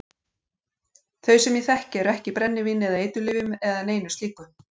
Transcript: Þau sem ég þekki eru ekki í brennivíni eða eiturlyfjum eða neinu slíku.